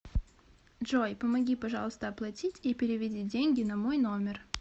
джой помоги пожалуйста оплатить и переведи деньги на мой номер